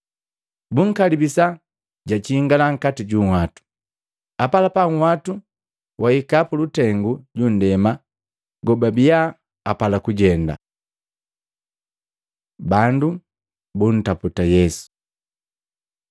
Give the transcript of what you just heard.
Bunkalibisa jujingala nkati ju nhwatu, apalapa nhwatu wahika pulutengu jundema kobaabiya apala kujenda. Bandu buntaputa Yesu